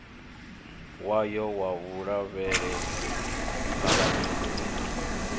wayo wa vhulavhelesi phalamennde i